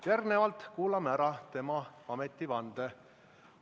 Järgnevalt kuulame ära tema ametivande.